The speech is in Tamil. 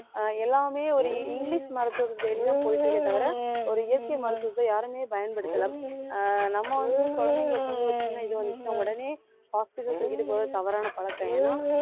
ஆஹ் எல்லாமே ஒரு இங்கிலிஷ் மருத்துவத்தை தேடித்தான் போயிட்டு இருக்கே தவிர ஒரு இயற்கை மருத்துவத்தை யாருமே பயன்படுத்தல ஆஹ் நம்ம வந்து குழந்தைங்களுக்கு வந்து ஒரு சின்ன இது வந்துச்சுன்னா உடனே hospital தூக்கிட்டு போறது தவறான பழக்கம் ஏன்னா